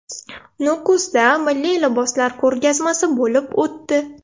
Nukusda milliy liboslar ko‘rgazmasi bo‘lib o‘tdi .